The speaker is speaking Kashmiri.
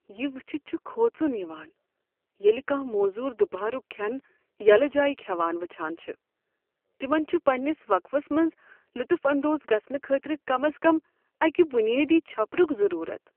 یہ وچھِتھ چھُ کھوژُن یوان ییٚلہ کھاہ موزور دُپہرُک کھین یلہٕ جایِہ کھیوان وچھان چھِ۔ تِمن چُھ پننِس وقفس منٛز لطف اندوز گژھنہٕ خٲطرٕ کم از کم اَکِہ بنیٲدی چھپرک ضرورت ۔